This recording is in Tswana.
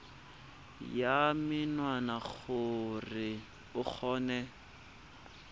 ya menwana gore o kgone